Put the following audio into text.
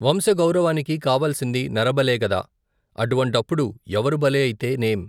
వంశగౌరవానికి కావాల్సింది నరబలేగద. అటువంటప్పుడు ఎవరు బలి అయితే నేం?